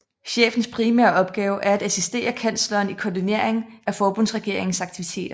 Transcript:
Chefens primære opgave er at assistere kansleren i koordinering af forbundsregeringens aktiviteter